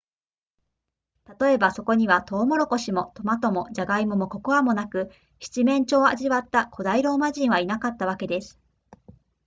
例えばそこにはトウモロコシもトマトもジャガイモもココアもなく七面鳥を味わった古代ローマ人はいなかったわけです